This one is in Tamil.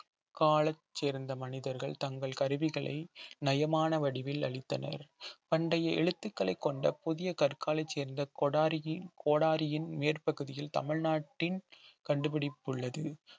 கால சேர்ந்த மனிதர்கள் தங்கள் கருவிகளை நயமான வடிவில் அளித்தனர் பண்டைய எழுத்துக்களை கொண்ட புதிய கற்கால சேர்ந்த கொடாரியின் கோடாரியின் மேற்பகுதியில் தமிழ்நாட்டின் கண்டுபிடிப்பு உள்ளது